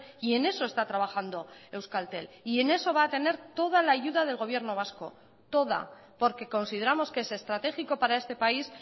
y en eso está trabajando euskaltel y en eso va a tener toda la ayuda del gobierno vasco toda porque consideramos que es estratégico para este país